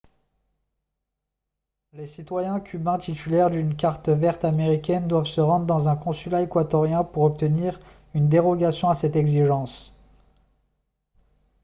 les citoyens cubains titulaires d'une carte verte américaine doivent se rendre dans un consulat équatorien pour obtenir une dérogation à cette exigence